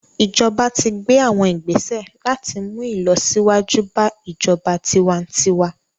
Ijọba ti gbe awọn igbese lati mu ilọsiwaju ba ijọba tiwantiwa